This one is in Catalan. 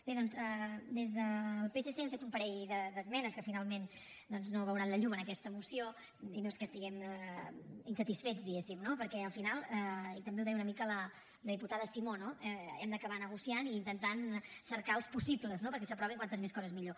bé doncs des del psc hem fet un parell d’esmenes que finalment doncs no veuran la llum en aquesta moció i no és que estiguem insatisfets diguéssim no perquè al final i també ho deia una mica la diputada simó hem d’acabar negociant i intentant cercar els possibles perquè s’aprovin quantes més coses millor